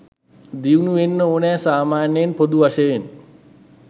දියුණු වෙන්න ඕනෙ සාමාන්‍යයෙන් පොදු වශයෙන්.